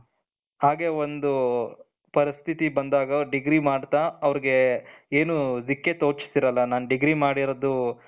ಹಾಗೆ ಒಂದು ಪರಿಸ್ಥಿತಿ ಬಂದಾಗ ಅವರು degree ಮಾಡ್ತಾ ಅವರಿಗೆ ಏನು ದಿಕ್ಕೆ ತೋಚುತ್ತಾ ಇರಲ್ಲ ನಾನು degree ಮಾಡಿರೋದು,